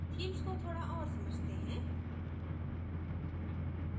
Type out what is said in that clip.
themes को थोडा और समझते हैं